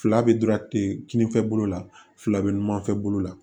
Fila bɛ dɔrɔn kinin fɛ bolo la fila bɛ ɲumanfɛ bolo la